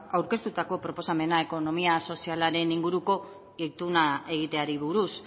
aurkeztutako proposamena ekonomia sozialaren inguruko ituna egiteari buruz